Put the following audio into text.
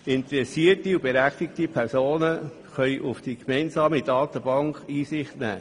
Interessierte und berechtigte Personen können in die gemeinsame Datenbank Einsicht nehmen.